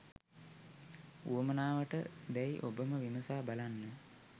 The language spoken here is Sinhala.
උවමනාවට දැයි ඔබම විමසා බලන්න